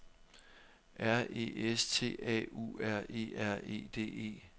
R E S T A U R E R E D E